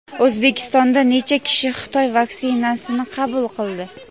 O‘zbekistonda necha kishi Xitoy vaksinasini qabul qildi?.